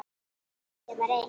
Ég var ein.